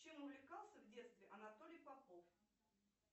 чем увлекался в детстве анатолий попов